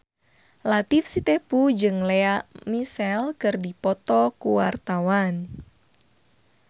Latief Sitepu jeung Lea Michele keur dipoto ku wartawan